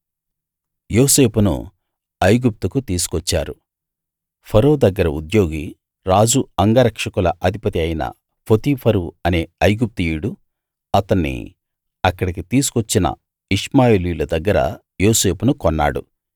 యోసేపును ఐగుప్తుకు తీసుకొచ్చారు ఫరో దగ్గర ఉద్యోగి రాజు అంగరక్షకుల అధిపతి అయిన పోతీఫరు అనే ఐగుప్తీయుడు అతన్ని అక్కడికి తీసుకొచ్చిన ఇష్మాయేలీయుల దగ్గర యోసేపును కొన్నాడు